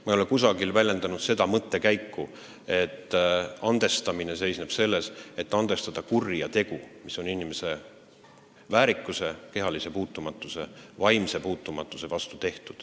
Ma ei ole kusagil väljendanud seda mõtet, nagu andestamine seisneks selles, et tuleb andestada kuri tegu inimese väärikuse, kehalise või vaimse puutumatuse vastu.